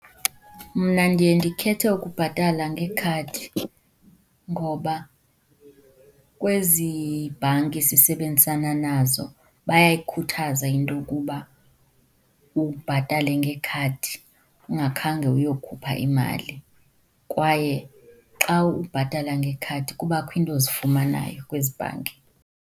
Mna ndiye ndikhethe ukubhatala ngekhadi ngoba kwezi bhanki sisebenzisana nazo bayayikhuthaza into yokuba ubhatale ngekhadi ungakhange uyokhupha imali, kwaye xa ubhatala ngekhadi kubakho iinto ozifumanayo kwezi bhanki.